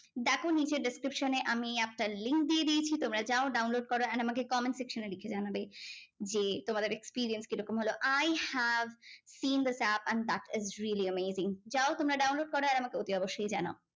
দেখো নিচে description এ আমি একটা link দিয়ে দিয়েছি। তোমরা যাও download করো and আমাকে comment section এ লিখে জানাবে যে, তোমাদের experience কি রকম হলো? I have seen the tap and that's a really amazing যাও তোমরা download করো আর আমাকে অতি অবশ্যই জানাও।